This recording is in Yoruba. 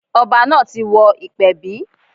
Ọba náà ti wọ ìpẹ̀bí.